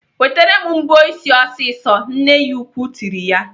"Wetere m mbọ ịsị ọsịsọ!" Nne ya ukwuu tiri ya.